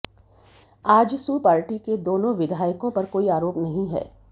AJSU party के दाेनाें विधायकों पर काेई अाराेप नहीं है